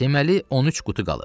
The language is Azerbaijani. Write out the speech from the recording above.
Deməli, 13 qutu qalıb.